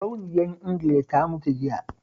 Sarauniyar Ingila ta mutu jiya